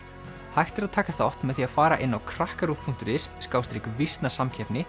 hægt er að taka þátt með því að fara inn á krakkaruv punktur is